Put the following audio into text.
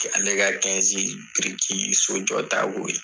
Ale brirki so jɔta k'o ye.